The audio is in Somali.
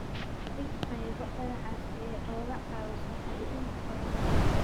Dhig qaybo dhagax ah si ay uga caawiso xajinta qoyaanka.